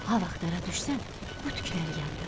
Ha vaxt dara düşsən, bu tükləri yandır.